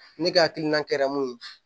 Ne ka hakilina kɛra mun ye